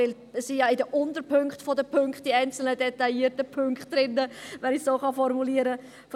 Denn die einen detaillierten Punkte sind ja in den Unterpunkten der Punkte drin, wenn ich es noch formulieren kann.